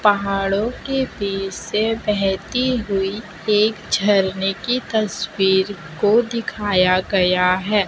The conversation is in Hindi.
पहाड़ों के बीच से बहती हुई एक झरने की तस्वीर को दिखाया गया है।